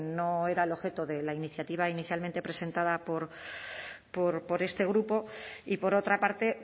no era el objeto de la iniciativa inicialmente presentada por este grupo y por otra parte